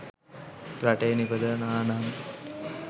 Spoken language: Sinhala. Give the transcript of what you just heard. රටේ නිපදවනවා නම්